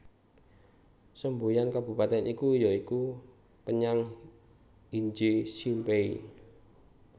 Semboyan kabupatèn iki ya iku Penyang Hinje Simpei